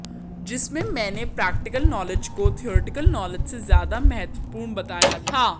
जिसमें मैने practical knowledge को थ्योरिटिकल नॉलेज से ज्यादा महत्वपूर्ण बताया था